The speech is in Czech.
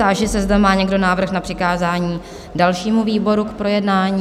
Táži se, zda má někdo návrh na přikázání dalšímu výboru k projednání?